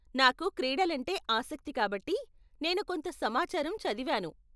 నాకు క్రీడలంటే ఆసక్తి కాబట్టి, నేను కొంత సమాచారం చదివాను.